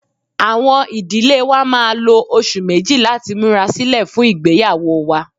Awọn idile wa máà lo oṣu meji lati mura silẹ fun igbeyawo wa.